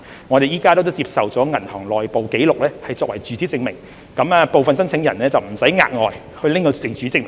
我們現時接受銀行的內部紀錄作為住址證明，讓部分申請人無須額外提供住址證明。